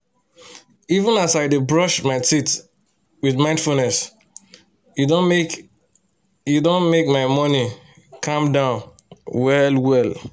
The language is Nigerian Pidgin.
even as i dey brush my teeth with mindfulness e don make e don make my morning calm down well-well